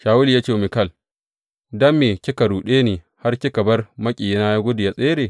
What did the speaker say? Shawulu ya ce wa Mikal, Don me kika ruɗe ni har kika bar maƙiyina ya gudu ya tsere?